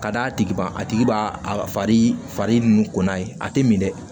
Ka d'a tigi ma a tigi b'a a fari nun kunna a tɛ min dɛ